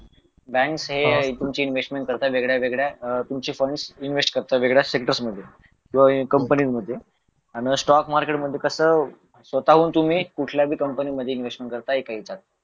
bank हे तुमची investment करतं वेगळ्यावेगळ्या तुमचे फंड्स इन्वेस्ट करत वेगळ्या सेक्टर्स मध्ये किंवा कंपनीमध्ये आणि स्टॉक मार्केट मध्ये कसं स्वतःहून तुम्ही कुठल्याही कंपनीमध्ये इन्व्हेस्टमेंट करताय काहीजण